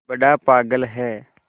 बड़ा पागल है